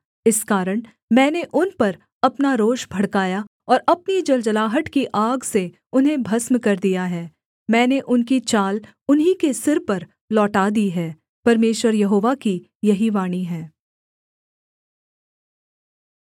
इस कारण मैंने उन पर अपना रोष भड़काया और अपनी जलजलाहट की आग से उन्हें भस्म कर दिया है मैंने उनकी चाल उन्हीं के सिर पर लौटा दी है परमेश्वर यहोवा की यही वाणी है